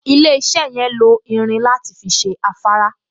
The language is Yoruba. Ilé-iṣẹ́ yẹn lo irin láti fi ṣe afárá